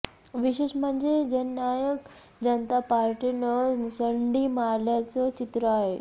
विशेष म्हणजे जननायक जनता पार्टीनं मुसंडी मारल्याचं चित्र आहे